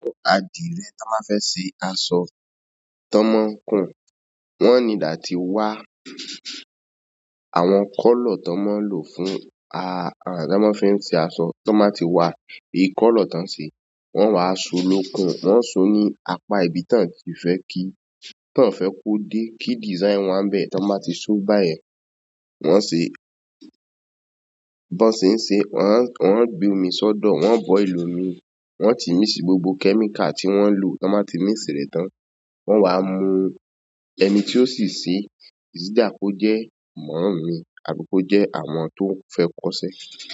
Àdìrẹ́ tí wọ́n máa fẹ́ ṣe aṣọ tí wọ́n máa ń kun, wọ́n need àti wa àwọn colour ti won maa n lo láti fi se aṣọ to won ba ti wa ìkọ́lọ̀ tí wọ́n ṣe, wọ́n á so lókun, wọ́n á so ní apá ibi tí wọ́n ti fẹ́ kí, tí wọ́n fẹ́ kó dé, kí design wọn bẹ́ẹ̀ tí wọ́n bá ti so báyẹ̀. Wọ́n ṣe, bí wọ́n ṣe ń ṣe, wọ́n á, wọ́n á gbe omi sọ́dọ̀, wọ́n á bọil omi, wọ́n ti míx gbogbo chemical tí wọ́n lò, ti wọ́n máa ti mìx rẹ̀ tán. Wọ́n á mu ẹni tí ó sì ṣe, sì dà kó jẹ́ mọ̀mmy mi tàbí ko jẹ́ àwọn tó fẹ́ kọ́sẹ́.